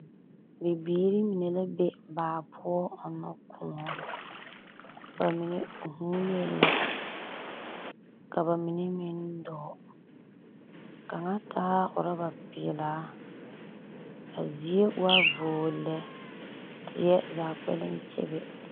Bibiiri mine la be baa poͻ ͻnnͻ kõͻ. Ba mine vuunee la ka bamine meŋ dͻͻ. kaŋa taa orͻba peԑlaa. A zie wa voo lԑ, teԑ zaa kpԑlem kyebe.